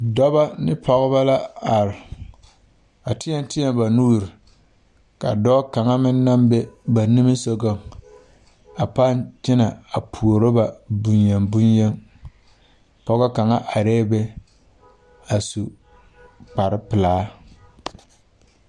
Dɔba ne pɔgeba la are a teɛ teɛ ba nuuri ka dɔɔ kaŋa naŋ be ba niŋe sogaŋ a pãã kyenɛ a puoro a bonyen bonyen pɔge kaŋa arɛɛ be a su kparpelaa.